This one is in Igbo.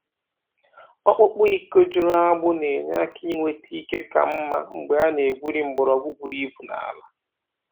Ọkpụkpụ iko juru agbụ na-enye aka inweta ike ka mma mgbe a na-ebuli mgbọrọgwụ buru ibu n’ala.